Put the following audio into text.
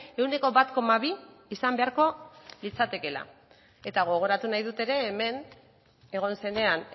ehuneko bat koma bi izan beharko litzatekeela eta gogoratu nahi dut ere hemen egon zenean